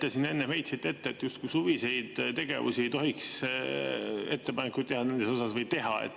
Te siin enne heitsite ette, et justkui suviste tegevuste kohta ei tohiks ettepanekuid teha.